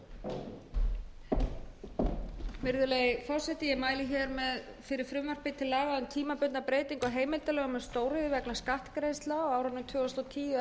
heimildarlögum um stóriðju vegna skattgreiðslna á árunum tvö þúsund og tíu tvö þúsund og ellefu og tvö þúsund